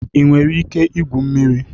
Ị nwere ike igwu mmiri?